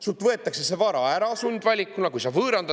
Sult võetakse see vara ära sundvaliku peale!